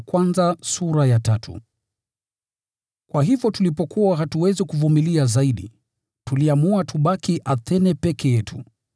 Kwa hivyo tulipokuwa hatuwezi kuvumilia zaidi, tuliamua tubaki Athene peke yetu.